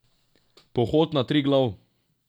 Pohod na Triglav!